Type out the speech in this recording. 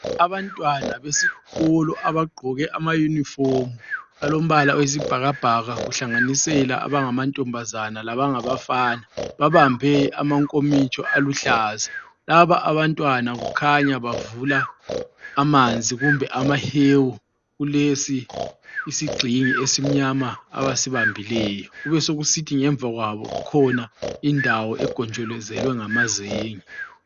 Abantwana besikolo abagqoke ama uniform alombala oyisibhakabhaka kuhlanganisela abangamantombazane labangabafana, babambe amankomitsho aluhlaza, laba Abantwana kukhanya bavula amanzi kumbe amahewu kulesi isigxingi esimnyama abasibambileyo ,kube sokusithi ngemva kwabo kukhona indawo egonjolozelwe ngamazenge